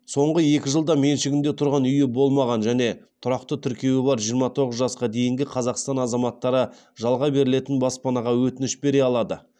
соңғы екі жылда меншігінде тұрғын үйі болмаған және тұрақты тіркеуі бар жиырма тоғыз жасқа дейінгі қазақстан азаматтары жалға берілетін баспанаға өтініш бере алады